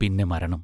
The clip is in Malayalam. പിന്നെ മരണം.